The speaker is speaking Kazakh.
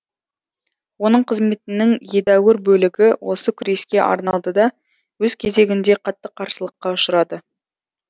оның қызметінің едәуір бөлігі осы күреске арналды да өз кезегінде қатты қарсылыққа ұшырады